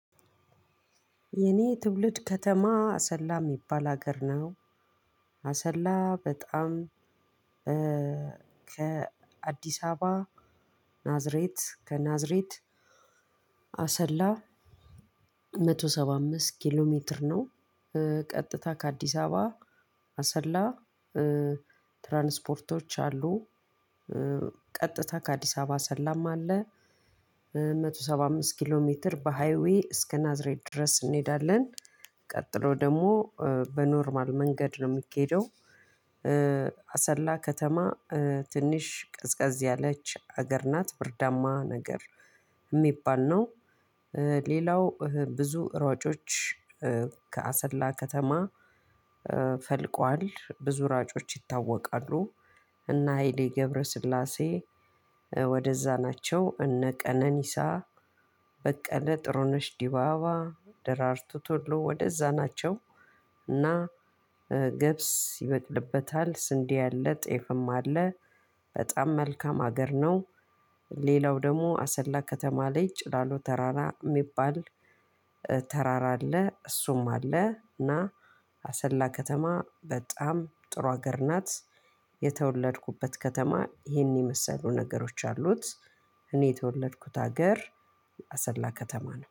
የእኔ ትውልድ ከተማ አሰላ ሚባል አገር ነው። አሰላ በጣም ከአዲስ አበባ ናዝሬት ከናዝሬት አሰላ መቶ ሰባ አምስት ኪሎ ሜትር ነው። ቀጥታ ከአዲስ አበባ አሰላ ትራንስፖርቶች አሉ። ቀጥታ ከአዲስ አበባ ሰላማ አለ አንድ መቶ ሰባ አምስት ኪሎ ሜትር በሃይዌይ እስከ ናዝሬት ድረስ እንሄዳለን። ቀጥሎ ደግሞ በኖርማል መንገድ ነው ምኬደው። አሰላ ከተማ ትንሽ ቅዝቀዝ ያለች ሀገር ናት ብርዳማ ነገር ሚባል ነው። ሌላው ብዙ ሯጮች ከአሰላ ከተማ ፈልቋል ብዙ ሯጮች ይታወቃሉ። እና እነ ሃይሌ ገብረስላሴ ወደዛ ናቸው እነ ቀነኒሳ በቀለ ጥሩነሽ ዲባባ ደራርቱ ቶሎ ወደዛ ናቸው። እና ገብስ ይበጥልበታል ስንዴ አለ ጤፍም አለ። በጣም መልካም አገር ነው። ሌላው ደግሞ አሰላ ከተማ ላይ ጭላሉ ተራራ የሚባል ተራራ አለ እሱም አለ። እና አሰላ ከተማ በጣም ጥሩ ሀገር ናት። የተወለድኩበት ከተማ ይሄን የመሰሉ ነገሮች አሉት። እኔ የተወለድኩት ሀገር አሰላ ከተማ ነው።